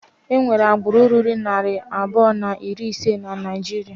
Enwere agbụrụ ruru narị abụọ na iri ise na Naijiria.